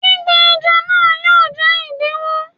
Gbígbẹ ẹja náà yóò jẹ́ ìdíwó.